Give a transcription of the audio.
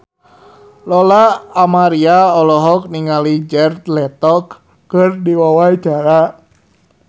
Lola Amaria olohok ningali Jared Leto keur diwawancara